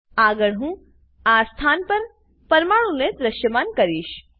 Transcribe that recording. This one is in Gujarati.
આગળ હું બધા સ્થાન પર પરમાણુ ને દ્રશ્યમાન કરીશ